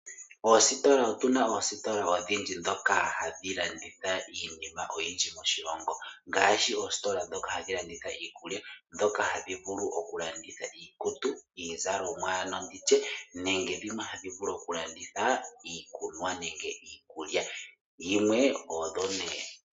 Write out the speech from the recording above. Oositola otuna oositola odhindji dhoka hadhi landitha iinima oyindji moshilongo ngaashi, oositola dhoka hadhi landitha iikulya, dhoka hadhi vulu oku landitha iikutu iizalomwa ano nditye. Nenge dhimwe ohadhi vulu oku landitha iikunwa nenge nditye iikulya.